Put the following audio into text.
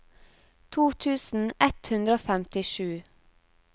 to tusen ett hundre og femtisju